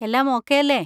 എല്ലാം ഓക്കെ അല്ലേ?